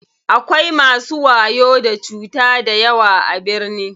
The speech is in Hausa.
Akwai masu wayo da cuta dayawa a birni.